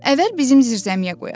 Əvvəl bizim zirzəmiyə qoyaq.